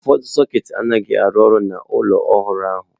Ụfọdụ sọketị anaghị arụ ọrụ n'ụlọ ọhụrụ ahụ.